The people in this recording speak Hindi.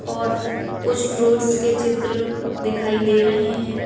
और कुछ फ्रूट्स के चित्र दिखाई दे रहे हैं।